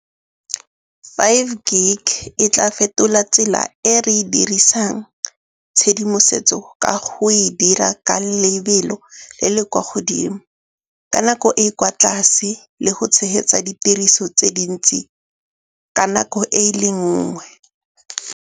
Five gig e tla fetola tsela e re e dirisang tshedimosetso ka go e dira ka lebelo le le kwa godimo ka nako e e kwa tlase le go tshehetsa ditiriso tse dintsi ka nako e le nngwe.